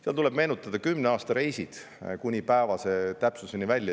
Seal tuleb meenutada oma kümne aasta reisid kuni päevase täpsuseni välja.